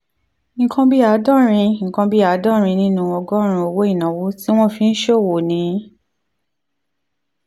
nǹkan bí àádọ́rin nǹkan bí àádọ́rin nínú ọgọ́rùn-ún owó ìnáwó tí wọ́n fi ń ṣòwò ni